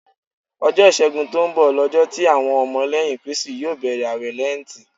Ọjọ́ ìṣẹ́gun tó ń bọ̀ lọjọ́ tí àwọn ọmọ lẹ́yìn Kristi yó bẹ̀rẹ̀ àwẹ̀ Lẹ́ǹtì.